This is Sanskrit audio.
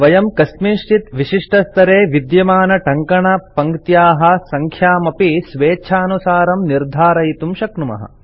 वयं कस्मिंश्चित् विशिष्टस्तरे विद्यमानटङ्कणपङ्क्त्याः सङ्ख्यामपि स्वेच्छानुसारं निर्धरयितुं शक्नुमः